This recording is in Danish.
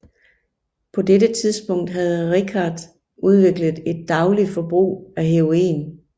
På dette tidspunkt havde Richards udviklet et dagligt forbrug af heroin